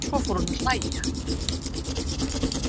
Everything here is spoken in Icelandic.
Svo fór hún að hlæja.